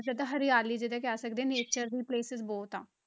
ਜ਼ਿਆਦਾ ਹਰਿਆਲੀ ਜਿੱਦਾਂ ਕਹਿ ਸਕਦੇ ਹਾਂ nature ਦੇ places ਬਹੁਤ ਆ,